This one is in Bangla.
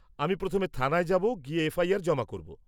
-আমি প্রথমে থানায় যাব, গিয়ে এফআইআর জমা করব।